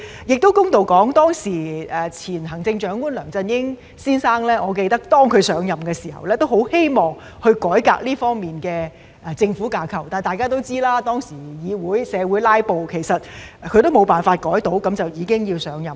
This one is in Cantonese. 公道的說，我記得前行政長官梁振英先生上任的時候，也很希望改革這方面的政府架構，但大家都知道，當時議會"拉布"，他未能改革便已經要上任。